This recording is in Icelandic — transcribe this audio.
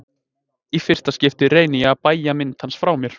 Í fyrsta skipti reyni ég að bægja mynd hans frá mér.